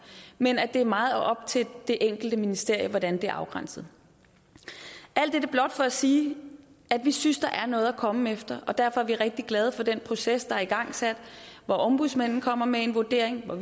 men at det er meget op til det enkelte ministerium hvordan det afgrænses alt dette blot for at sige at vi synes der er noget at komme efter og derfor er vi rigtig glade for den proces der er igangsat hvor ombudsmanden kommer med en vurdering og